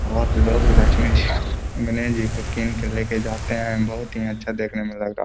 और लोग लक्ष्मी जी को गणेश जी को लेके जाते हैं। बोहत ही अच्छा देखने में लग रहा --.